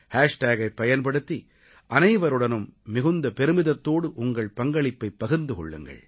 ஹேஷ்டேகைப் பயன்படுத்தி அனைவருடனும் மிகுந்த பெருமிதத்தோடு உங்கள் பங்களிப்பைப் பகிர்ந்து கொள்ளுங்கள்